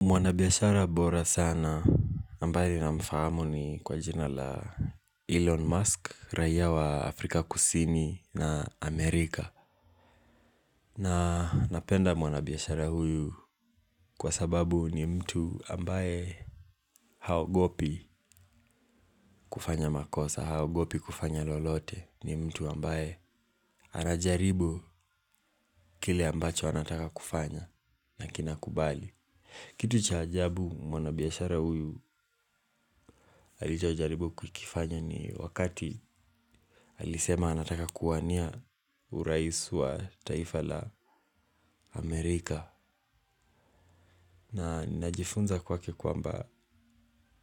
Mwanabiashara bora sana ambaye namfahamu ni kwa jina la Elon Musk, raia wa Afrika kusini na Amerika. Na napenda mwanabiashara huyu kwa sababu ni mtu ambaye haogopi kufanya makosa, haogopi kufanya lolote ni mtu ambaye anajaribu kile ambacho anataka kufanya na kinakubali. Kitu cha ajabu mwanabiashara huyu halijajaribu kukifanya ni wakati alisema anataka kuwania urais wa taifa la Amerika. Na najifunza kwake kwamba